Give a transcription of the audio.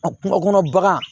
A kungo kɔnɔ bagan